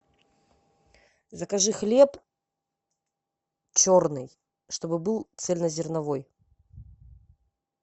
закажи хлеб черный чтобы был цельнозерновой